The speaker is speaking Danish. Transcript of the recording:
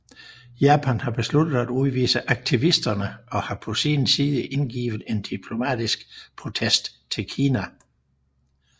Japan har besluttet at udvise aktivisterne og har på sin side indgivet en diplomatisk protest til Kina